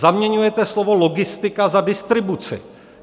Zaměňujete slovo logistika za distribuci.